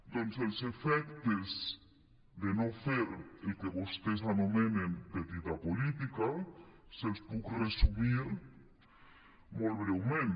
doncs els efectes de no fer el que vostès anomenen petita política els puc resumir molt breument